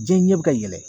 Diɲɛ ɲɛ bɛ ka yɛlɛ